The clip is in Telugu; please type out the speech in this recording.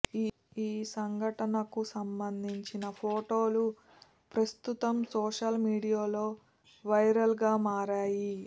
ఈ సంఘటనకు సంబంధించిన ఫొటోలు ప్రస్తుతం సోషల్ మీడియాలో వైరల్గా మారాయి